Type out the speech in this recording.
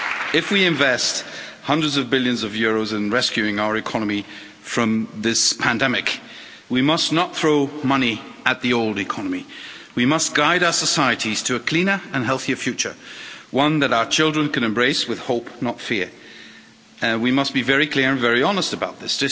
If we invest hundreds of billions of euros in rescuing our economy from this pandemic we must not throw money at the old economy. We must guide our societies to a cleaner and healthier future, one that our children can embrace with hope, not fear. We must be very clear and very honest about this.